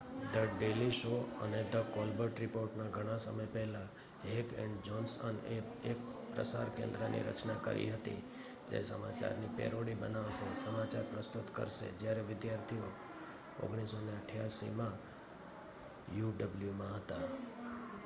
the daily show અને the Colbert report ના ઘણા સમય પહેલા હેક એન્ડ જોનસનએ એક પ્રસાર કેન્દ્રની રચના કરી હતી જે સમાચાર ની પેરોડી બનાવશે-સમાચાર પ્રસ્તુત કરશે-જયારે વિદ્યાર્થીઓ 1988માં uw માં હતા